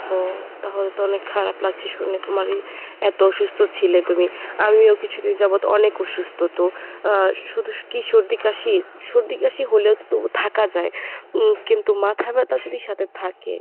ও তাহলে তো অনেক খারাপ লাগছে শুনে তোমার এই এত অসুস্থ ছিলে তুমি। আমিও কিছুদিন যাবত অনেক অসুস্থ তো আহ শুধু কী সর্দি কাশি? সর্দি কাশি হলেও তো তবু থাকা যায় উম কিন্তু মাথা ব্যাথা যদি সাথে থাকে!